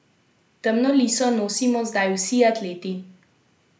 Temno liso nosimo zdaj vsi atleti.